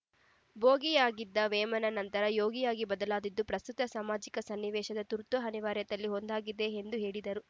ಭೋಗಿಯಾಗಿದ್ದ ವೇಮನ ನಂತರ ಯೋಗಿಯಾಗಿ ಬದಲಾದದ್ದು ಪ್ರಸ್ತುತ ಸಾಮಾಜಿಕ ಸನ್ನಿವೇಶದ ತುರ್ತು ಅನಿವಾರ್ಯತೆಯಲ್ಲಿ ಒಂದಾಗಿದೆ ಎಂದು ಹೇಳಿದರು